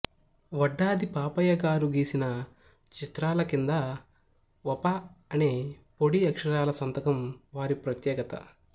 వడ్డాది పాపయ్యగారు గీసిన చిత్రాల క్రింద వ పా అనే పొడి అక్షారాల సంతకం వారి ప్రత్యేకత